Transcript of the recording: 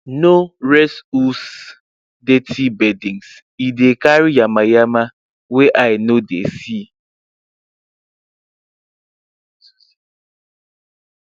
no dirty bedding e dey carry yamayama wey eye no dey see